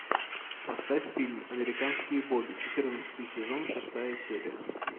поставь фильм американские боги четырнадцатый сезон шестая серия